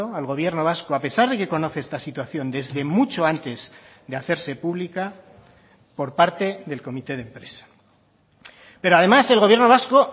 al gobierno vasco a pesar de que conoce esta situación desde mucho antes de hacerse pública por parte del comité de empresa pero además el gobierno vasco